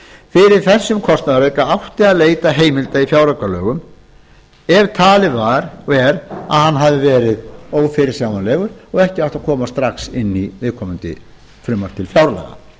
fyrir þessum kostnaðarauka átti að leita heimilda í fjáraukalögum ef talið er að hann hafi verið ófyrirsjáanlegur og ekki átti að koma strax inn í viðkomandi frumvarp til fjárlaga